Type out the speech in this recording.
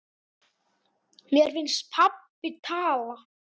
Mér finnst pabbi tala.